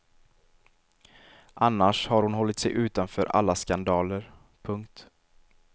Annars har hon hållt sig utanför alla skandaler. punkt